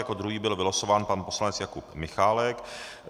Jako druhý byl vylosován pan poslanec Jakub Michálek.